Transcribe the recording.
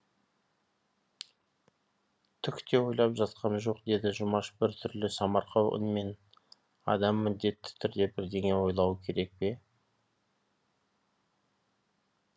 түк те ойлап жатқам жоқ деді жұмаш бір түрлі самарқау үнмен адам міндетті түрде бірдеңе ойлауы керек пе